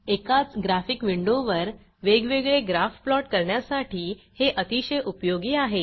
एकाच ग्राफिक विंडोवर वेगवेगळे ग्राफ प्लॉट करण्यासाठी हे अतिशय उपयोगी आहे